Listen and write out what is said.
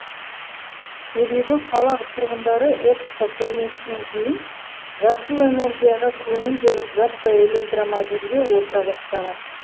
себебі қала тұрғындары экспо көрмесінен кейін жасыл энергияға көңіл бөліп жаппай электромобильге отыра бастаған